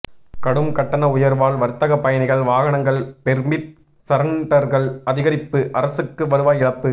கடும் கட்டண உயர்வால் வர்த்தக பயணிகள் வாகனங்கள் பெர்மிட் சரண்டர்கள் அதிகரிப்பு அரசுக்கு வருவாய் இழப்பு